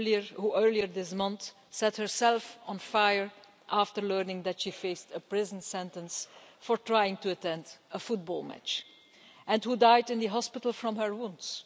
who earlier this month set herself on fire after learning that she faced a prison sentence for trying to attend a football match, and who died in the hospital from her wounds.